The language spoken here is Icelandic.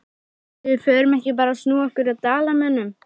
Ætli við förum ekki bara að snúa okkur að Dalamönnum?